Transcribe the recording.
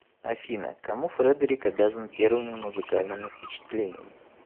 афина кому фредерик обязан первыми музыкальными впечатлениями